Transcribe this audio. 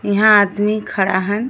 इहा आदमी खड़ा हवन।